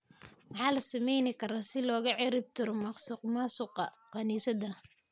Maxaa la sameeyni kara si looga ciribtiro musuqmaasuqa kaniisadda?